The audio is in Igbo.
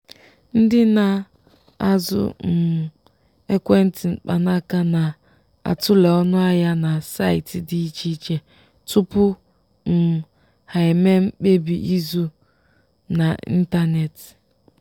ndị na-azụ um ekwentị mkpanaka na-atule ọnụahịa na saịtị dị iche iche tupu um ha emee mkpebi ịzụ n'ịntanetị.